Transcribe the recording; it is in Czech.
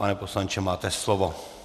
Pane poslanče, máte slovo.